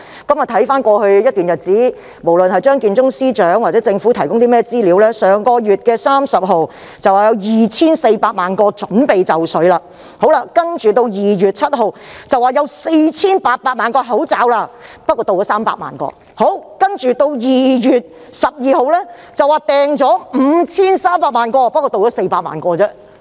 看回過去一段日子，無論是張建宗司長或政府提供的資料，均顯示上月30日會有2400萬個口罩準備就緒；到了2月7日，又說已訂購4800萬個口罩，但只有300萬個運抵香港；接着2月12日表示已訂購5300萬個，但只有400萬個運到。